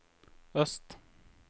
øst